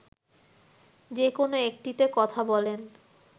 যেকোন একটিতে কথা বলেন